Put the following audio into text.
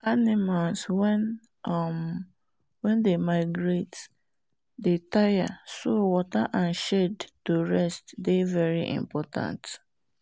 animals wen um dey migrate dey tire so water and shade to rest dey very important